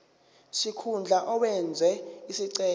sikhundla owenze isicelo